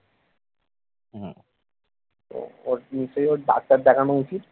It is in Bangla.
ওর শুরুতেই ডাক্তার দেখানো উচিত